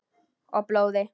Og blóði.